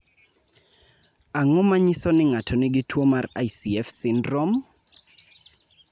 Ang�o ma nyiso ni ng�ato nigi tuo marICF syndrome?